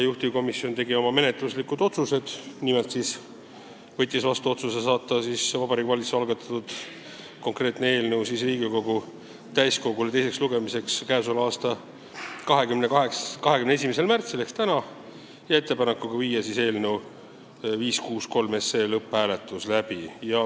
Juhtivkomisjon tegi menetluslikud otsused, nimelt võttis vastu otsuse saata Vabariigi Valitsuse algatatud eelnõu Riigikogu täiskogule teiseks lugemiseks 21. märtsiks ehk tänaseks ja ettepanek on viia läbi eelnõu 563 lõpphääletus.